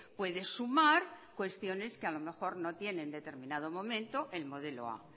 puede sumar cuestiones que a lo mejor no tiene en determinado momento el modelo a